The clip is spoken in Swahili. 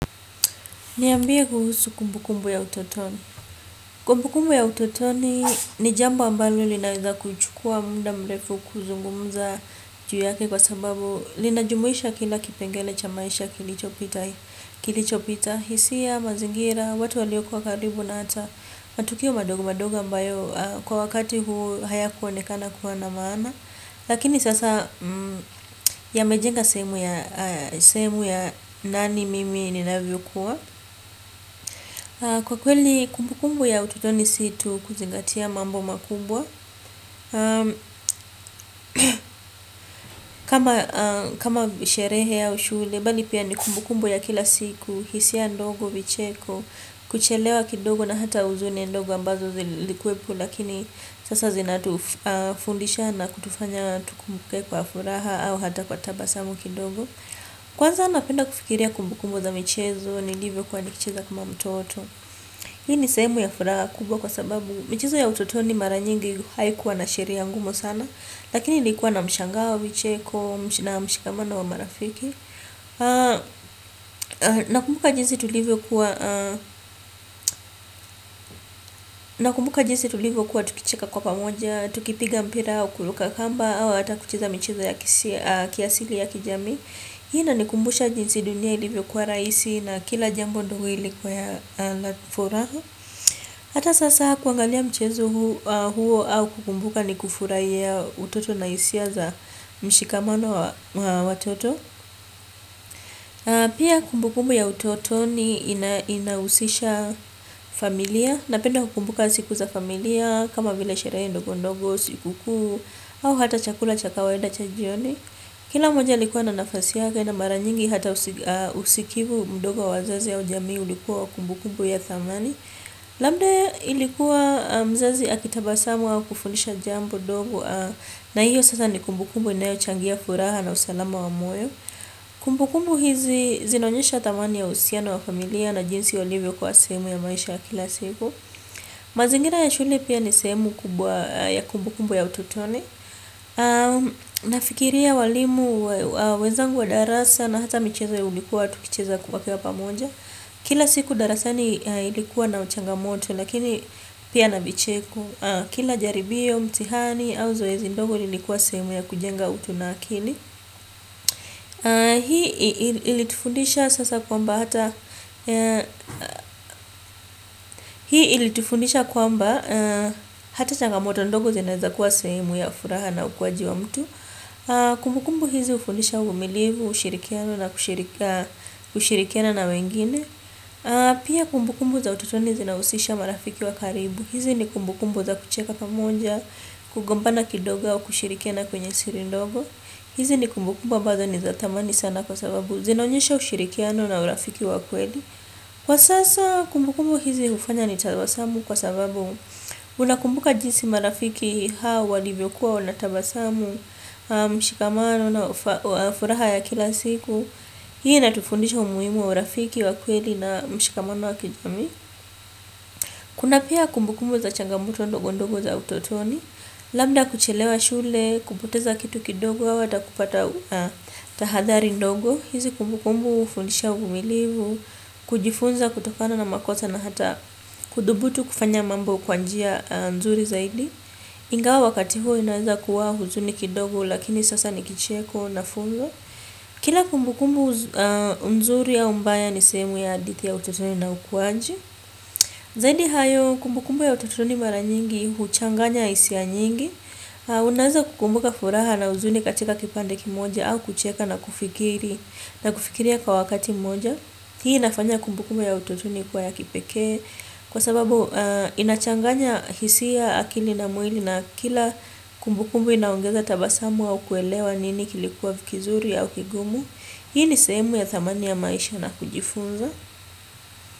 Niambie kuhusu kumbukumbu ya utotoni. Kumbukumbu ya utotoni ni jambo ambalo linaeza kuchukua muda mrefu kuzungumuza juu yake kwa sababu linajumuisha kila kipengele cha maisha kilichopita. Hisia, mazingira, watu waliokuwa karibu na hata matukio madogo madogo ambayo kwa wakati huo haya kuonekana kuwa na maana. Lakini sasa yamejenga sehemu ya nani mimi ninavyo kuwa. Kwa kweli kumbukumbu ya utotoni si tu kuzingatia mambo makubwa kama sherehe ya au shule, bali pia ni kumbukumbu ya kila siku, hisia ndogo vicheko. Kuchelewa kidogo na hata huzuniem ndogo ambazo zilikuwepo. Lakini sasa zinatufundisha na kutufanya tukumbuke kwa furaha au hata kwa tabasamu kidogo. Kwanza napenda kufikiria kumbukumbu za michezo nilivo kuwa nikicheza kama mtoto. Hii ni sehemu ya furaha kubwa kwa sababu michezo ya utotoni mara nyingi haikuwa na sheria ya ngumu sana, lakini ilikuwa na mshangawa wa vicheko, na mshikamano wa marafiki. Nakumbuka jinsi tulivyo kuwa tukicheka kwa pamoja, tukipiga mpira, kuruka kamba, au hata kucheza michezo ya kiasili ya kijamii. Hii inanikumbusha jinsi dunia ilivyo kuwa rahisi na kila jambo ilikua ya furaha ata sasa kuangalia mchezo huo au kukumbuka ni kufurahia utoto na hisia mshikamano wa watoto. Pia kumbukumbu ya utoto ni inahusisha familia. Napenda kukumbuka siku za familia kama vile sherehe ndogo ndogo, siku kuu au hata chakula cha kawaida cha jioni. Kila mmoja alikuwa na nafasi yaka na mara nyingi hata usikivu mdogo wa wazazi ua ujami ulikuwa wa kumbukumbu ya thamani. Labda ilikuwa mzazi akitabasamu wa kufundisha jambo dogo. Na hiyo sasa ni kumbukumbu inayo changia furaha na usalama wa moyo. Kumbukumbu hizi zinaonyesha thamani ya uhusiana wa familia na jinsi walivyo kuwa sehemu ya maisha ya kila siku mazingira ya shule pia ni sehemu kubwa ya kumbukumbu ya utotoni. Nafikiria walimu wenzangu wa darasa na hata michezo ya ulikuwa tukicheza kwa pamoja. Kila siku darasani ilikuwa na changa moto lakini pia na vicheko. Kila jaribio mtihani au zoezi ndogo lilikuwa sehemu ya kujenga utu na akili. Hii ilitufundisha sasa kwamba hata, hii ilitufundisha kwa mba hata changamoto ndogo zinaweza kuwa sehemu ya furaha na ukuaji wa mtu. Kumbukumbu hizi hufundisha uvumilivu ushikiano na kushirikiana na wengine. Pia kumbukumbu za utotoni zina husisha marafiki wa karibu. Hizi ni kumbukumbu za kucheka pamoja. Kugombana kidogo au kushirikiana kwenye siri ndogo. Hizi ni kumbukumbu ambazo ni za thamani sana kwa sababu zinaonyesha ushirikiana urafiki wa kweli. Kwa sasa kumbukumbu hizi hufanya ni tabawasamu kwa sababu unakumbuka jinsi marafiki hawa, walivyokua, wanatabasamu. Mshikamano na furaha ya kila siku. Hii ina tufundisha umuhimu wa urafiki wa kweli na mshikamano wa kijamii. Kuna pia kumbukumbu za changa moto ndogo ndogo za utotoni. Labda kuchelewa shule, kupoteza kitu kidogo, au hata kupata tahadhari ndogo. Hizi kumbukumbu hufundisha uvumilivu, kujifunza kutokana na makosa na hata kudhubutu kufanya mambo kwa njia nzuri zaidi. Ingawa wakati huo inaweza kuwa huzuni kidogo lakini sasa ni kicheko na funzo. Kila kumbukumbu nzuri au mbaya ni sehemu ya hadithi ya utotoni na ukuaji. Zaidi hayo kumbukumbu ya utotoni mara nyingi huchanganya hisia nyingi. Unaeza kukumbuka furaha na huzuni katika kipande kimoja au kucheka na kufikiri na kufikiria kwa wakati mmoja. Hii inafanya kumbukumbu ya utotoni kuwa ya kipekee. Kwa sababu inachanganya hisia akili na mwii na kila kumbukumbu inaongeza tabasamu au kuelewa nini kilikuwa ni kizuri au kigumu. Hii ni sehemu ya thamani ya maisha na kujifunza.